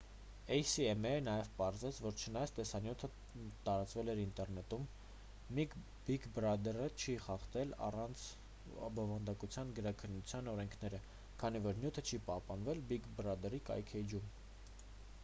էյ-սի-էմ-էյը նաև պարզեց որ չնայած տեսանյութը տարածվել էր ինտերնետում բիգ բրադրը չի խախտել առցանց բովանդակության գրաքննության օրենքները քանի որ նյութը չի պահպանվել բիգ բրադրսի կայքէջում